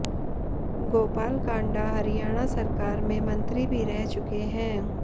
गोपाल कांडा हरियाणा सरकार में मंत्री भी रह चुके हैं